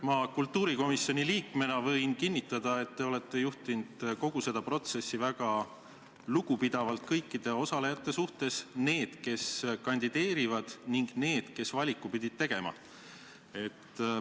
Ma võin kultuurikomisjoni liikmena kinnitada, et te olete kogu seda protsessi juhtinud väga lugupidavalt kõikide osalejate suhtes – nii nende suhtes, kes kandideerisid, kui ka nende suhtes, kes valiku pidid tegema.